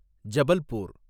Jabalpur